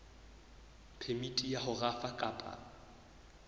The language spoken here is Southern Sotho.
phemiti ya ho rafa kapa